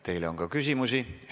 Teile on ka küsimusi.